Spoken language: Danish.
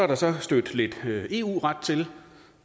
der så stødt lidt eu ret til